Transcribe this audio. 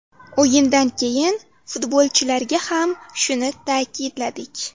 O‘yindan keyin futbolchilarga ham shuni ta’kidladik.